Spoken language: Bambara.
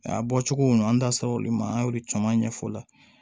A bɔcogo ninnu an da sera olu ma an y'olu caman ɲɛfɔ o la